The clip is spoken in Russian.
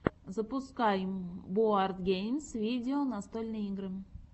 запускай боардгеймс видео настольные игры